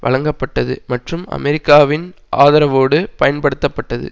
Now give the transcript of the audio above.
வழங்கப்பட்டது மற்றும் அமெரிக்காவின் ஆதரவோடு பயன்படுத்தப்பட்டது